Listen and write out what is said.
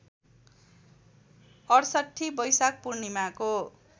६८ बैशाख पूर्णिमाको